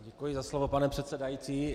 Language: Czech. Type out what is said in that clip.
Děkuji za slovo, pane předsedající.